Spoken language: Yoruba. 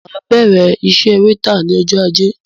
Máa bẹrẹ iṣẹ wétà ní ọjọ ajé